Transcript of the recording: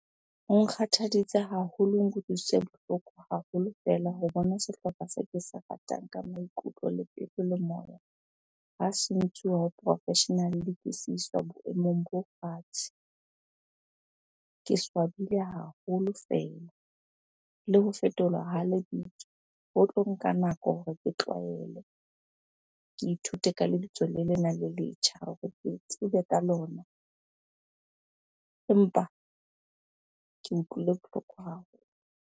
Ho nkgathaditse haholo, ho nkutlwisitse bohloko haholo fela ho bona sehlopha se ke se ratang ka maikutlo, le pelo, le moya ha se ntshuwa ho professional-e boemong bo fatshe. Ke swabile haholo fela. Le ho fetolwa ha lebitso ho tlo nka nako hore ke tlwaele, ke ithute ka lebitso lena le letjha hore ke tsebe ka lona. Empa ke utlwile bohloko haholo.